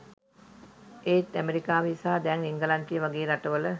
එත් ඇමරිකාවේ සහ දැන් එංගලන්තය වගේ රටවල